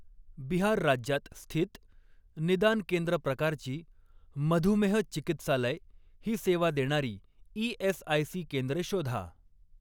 बिहार राज्यात स्थित, निदान केंद्र प्रकारची, मधुमेह चिकित्सालय ही सेवा देणारी ई.एस.आय.सी केंद्रे शोधा.